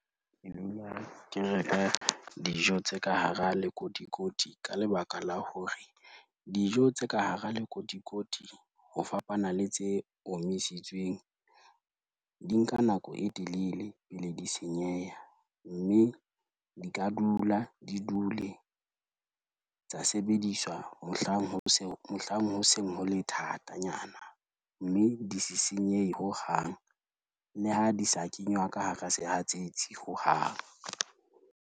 Ke dula ke reka dijo tse ka hara lekotikoti ka lebaka la hore, dijo tse ka hara lekotikoti ho fapana le tse omisitsweng, di nka nako e telele pele di senyeha, mme di ka dula di dule tsa sebediswa mohlang ho seng ho le thatanyana, mme di se senyehe hohang le ha di sa kenywa ka hara sehatsetsi hohang.